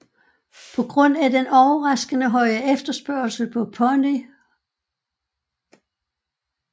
På grund af den overraskende høje efterspørgsel på Pony hhv